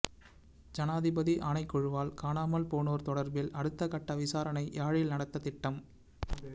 ஜனாதிபதி ஆணைக்குழுவால் காணாமல் போனோர் தொடர்பில் அடுத்த கட்ட விசாரணை யாழில் நடத்த திட்டம்